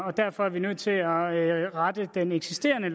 og derfor er vi nødt til at rette i den eksisterende